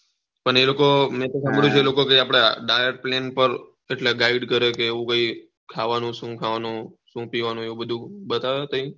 પણ એ લોકો મેં તો શામ્બ્દીયું છે આપડા ડાયટ પ્લેન પર એટલે ગય્ડ કરે કે એવું નહી ખાવાનું શું ખાવાનું શું પીવાનું એવું બધું બતાવે તય